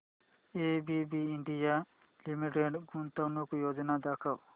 ABB India limited गुंतवणूक योजना दाखव